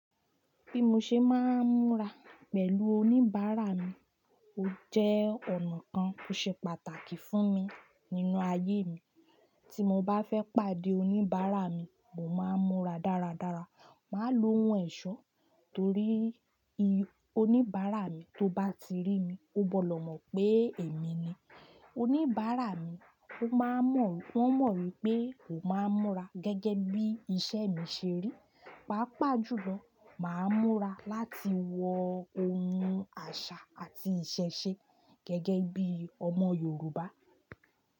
Bí mo ṣe máa ń múra pẹ̀lú oníbàárà mi ó jẹ́ ọ̀nà kan tó ṣe pàtàkì fún mi nínú ayé mi. Tí mo bá fẹ́ pàdé oníbàárà mi, mo máa ń múra dáradára. Màá lo ohun ẹ̀ṣọ́ torí oníbàárà mi tó bá ti rí mi, ó gbọ́dọ̀ mọ̀ pé èmi ni. Oníbàárà mi ó máa mọ̀, wọ́n mọ̀ wípé ó máa ń múra gẹ́gẹ́ bí iṣẹ́ mi ṣe rí. Páápàá jùlọ máa ń múra láti wọ ohun àṣà àti ìṣẹ̀ṣe gẹ́gẹ́ bí ọmọ Yorùbá.